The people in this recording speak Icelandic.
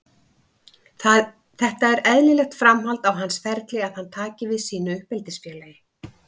Þetta er eðlilegt framhald á hans ferli að hann taki við sínu uppeldisfélagi.